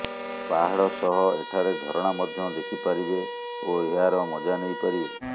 ପାହାଡ଼ ସହ ଏଠାରେ ଝରଣା ମଧ୍ୟ ଦେଖିପାରିବେ ଓ ଏହାର ମଜା ନେଇପାରିବେ